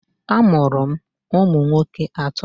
A mụrụ m ụmụ nwoke atọ.